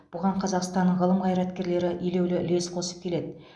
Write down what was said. бұған қазақстанның ғылым қайраткерлері елеулі үлес қосып келеді